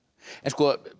en